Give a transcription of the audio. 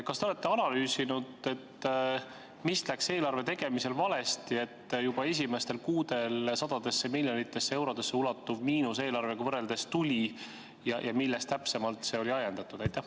Kas te olete analüüsinud, mis läks eelarve tegemisel valesti, et juba esimestel kuudel sadadesse miljonitesse eurodesse ulatuv miinus tuli ja millest täpsemalt see oli ajendatud?